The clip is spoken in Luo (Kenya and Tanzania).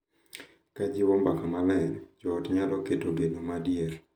Ka jiwo mbaka maler, jo ot nyalo keto geno ma adier,